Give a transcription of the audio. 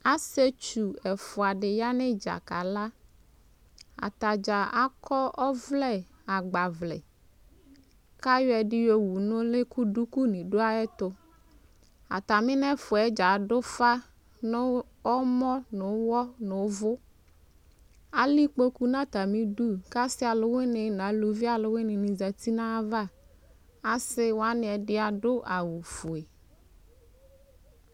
asietsʋ eƒʋadi ayanidza kala atadza akɔ ɔvlɛ agbavlɛ kayɔɛdi yɔwʋ nʋli kʋ dʋkʋ dʋayɛtʋ atami nɛƒʋɛ dza adʋƒa nʋ ɔmɔ ʋwɔ nʋ ʋvʋʋ alɛ ikpokʋ natamidʋ ka si alʋwini zati nayava asiwani adʋ awʋvɛ